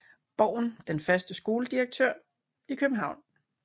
Borgen den første skoledirektør i København